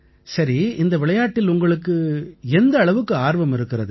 சரி இந்த விளையாட்டில் உங்களுக்கு எந்த அளவுக்கு ஆர்வம் இருக்கிறது